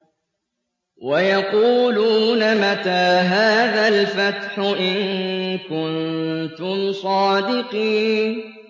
وَيَقُولُونَ مَتَىٰ هَٰذَا الْفَتْحُ إِن كُنتُمْ صَادِقِينَ